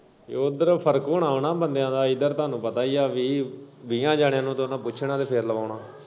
ਤੇ ਉੱਧਰ ਫਰਕ ਹੁਨਾ ਨਾ ਬੰਦਿਆ ਦਾ ਇੱਧਰ ਤੁਹਾਨੂੰ ਪਤਾ ਹੀ ਐ ਵੀਹ ਵੀਹਾਂ ਜਾਨਿਆ ਤੋਂ ਉਨੇ ਪੁੱਛਣਾ ਫੇਰ ਲਵਾਉਣਾ।